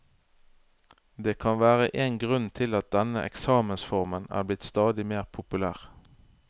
Det kan være én grunn til at denne eksamensformen er blitt stadig mer populær.